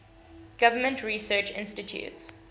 government research institutes